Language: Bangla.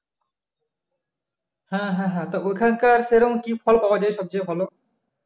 হ্যা হ্যা হ্যা তা ওখানকার সে রকম কি ফল পাওয়া যায় সবচেয়ে ভালো?